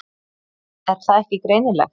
Er það ekki greinilegt?